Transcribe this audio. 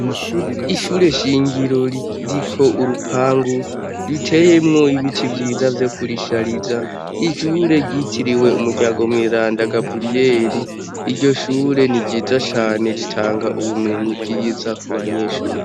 Ishure shingiro riko urupangu riteyemwo ibiti vyiza vye kurishariza ishure ryitiriwe umuryango mwiranda gaburiyeli iryo shure ni ryiza cane ritanga ubumenyi bwiza ku banyeshuri.